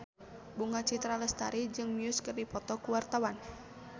Bunga Citra Lestari jeung Muse keur dipoto ku wartawan